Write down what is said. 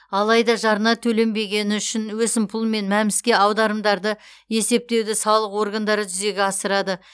алайда жарна төленбегені үшін өсімпұл мен мәмс ке аударымдарды есептеуді салық органдары жүзеге асырады